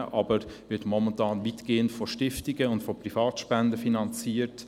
Momentan wird diese jedoch weitgehend durch Stiftungen und Privatspenden finanziert.